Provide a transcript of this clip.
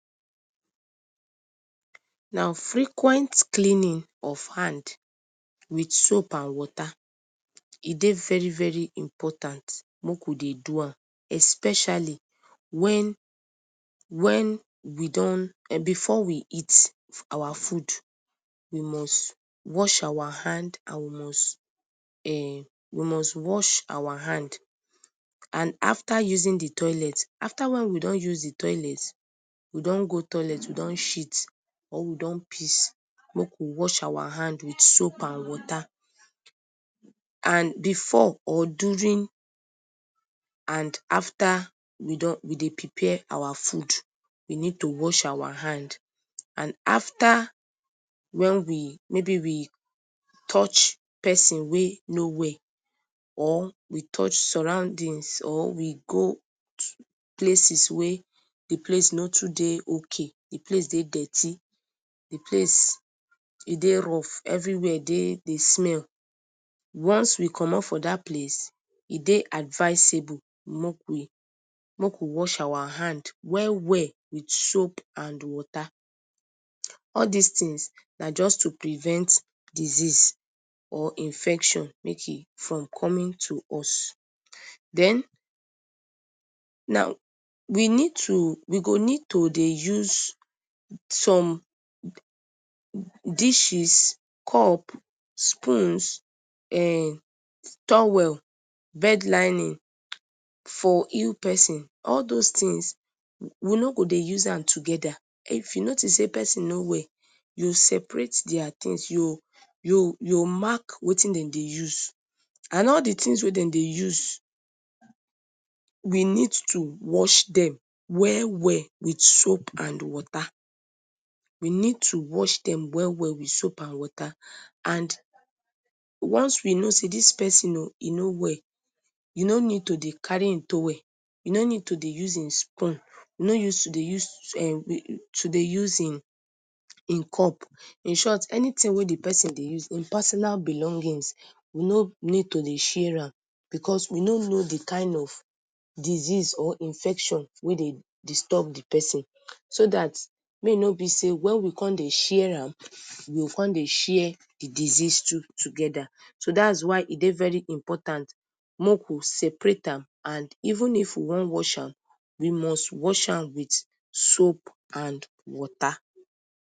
Na frequent cleaning of hand with soap and water, e dey very very important make we dey do am especially wen, wen, before we eat our food we must wash our and hand and um we must wash our hand and after using d toilet, afta wen we don use d toilet, we don go toilet we don shit or we don piss make we wash our hand with soap and water, and before or during and afta we dey prepare our food we need to wash our hand and afta wen we, mayb we touch persin wey no well or, we touch surroundings or we go places wey d place no too dey ok, d place dey dirty, d place dey rough, everywhere dey smell, ones we commot from dat place e dey adviceable make we wash our hand well well with soap and water, all dis things na just to prevent disease or infection from coming to us den, now we go need to dey use some dishes cup, spoons, towel, bed lining for ill persin all those things, we no go dey use am togeda, if we notice sey persin no well, separate dia things, u go make d things wey dem dey use, and all d things wey dem dey use, we need to wash dem well well with soap and water, we need to wash dem well well with soap and water and ones we know sey dis persin o e no well, u no need to dey carry hin towel, u no need to dey carry hin spoon, u no need to dey use hin cup, in short any thing wey d persin dey use, hin personal belongings, u no need to dey share am, because we no no d kind of disease or infection wey dey disturb d persin, so dat make e no b sey wen we con dey share am, we go con dey share d disease too togeda, so dats why e dey important make we separate am, and even if we wan wash am we must wash am with soap and water.